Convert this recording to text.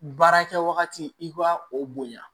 Baara kɛ wagati i b'a o bonya